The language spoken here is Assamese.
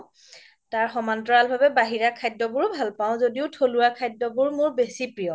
তাৰ সমান তলাৰ ভাবে বাহিৰা খাদ্য বোৰও ভাল পাও য্দিও থলুৱা খাদ্য বোৰ মোৰ বেচি প্ৰিয়